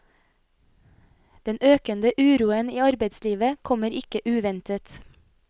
Den økende uroen i arbeidslivet kommer ikke uventet.